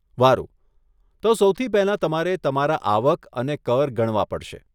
વારુ, તો સૌથી પહેલાં તમારે તમારા આવક અને કર ગણવા પડશે.